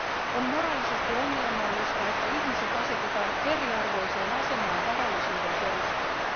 On moraalisesti ongelmallista, että ihmiset asetetaan eriarvoiseen asemaan varallisuuden perusteella.